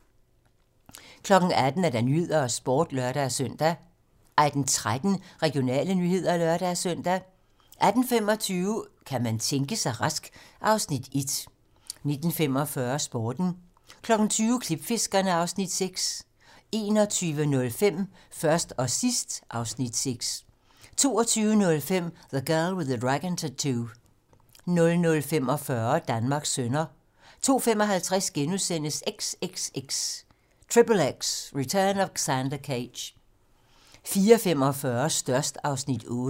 18:00: 18 Nyhederne og Sporten (lør-søn) 18:13: Regionale nyheder (lør-søn) 18:25: Kan man tænke sig rask? (Afs. 1) 19:45: Sporten 20:00: Klipfiskerne (Afs. 6) 21:05: Først og sidst (Afs. 6) 22:05: The Girl with the Dragon Tattoo 00:45: Danmarks sønner 02:55: XXX: Return of Xander Cage * 04:45: Størst (Afs. 8)